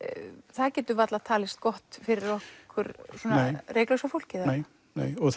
það getur varla talist gott fyrir okkur reyklausa fólkið nei og